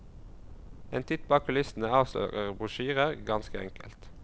En titt bak kulissene avslører brosjyrer, ganske enkelt.